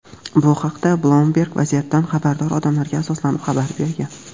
Bu haqda "Bloomberg" vaziyatdan xabardor odamlarga asoslanib xabar bergan.